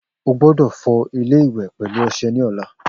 O gbódò fọ ilé iwè pèlú ọsẹ ní ọ̀la